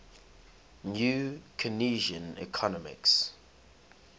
new keynesian economics